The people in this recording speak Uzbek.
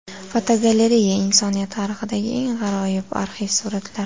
Fotogalereya: Insoniyat tarixidagi eng g‘aroyib arxiv suratlar.